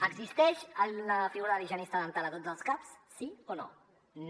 existeix la figura de l’higienista dental a tots els caps sí o no no